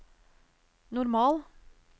normal